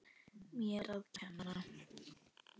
Mér að kenna!